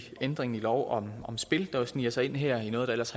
ændringer i lov om spil der jo sniger sig ind her i noget der ellers